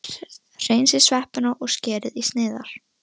Hreinsið sveppina og skerið í sneiðar.